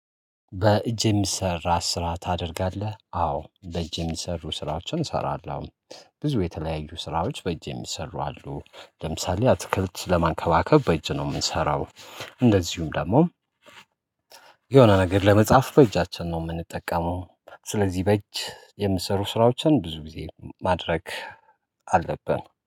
በእጅ የሚሰራ ስራ ታደርጋለህ? አዎ በእጅ የሚሰሩ ስራዎችን እሰራለሁ። ብዙ የተለያዩ ስራዎች በእጅ የሚሰሩ አሉ ለምሳሌ አትክልት ለማንከባከብ በእጅ ነው የምንሰራው። እንደዚሁም ደግሞ የሆነ ነገር ለመጽሐፍ በእጃችን ነው የምንጠቀመው። ስለዚህ በእጅ የሚሰሩ ስራዎችን ብዙ ጊዜ ማድረግ አለብን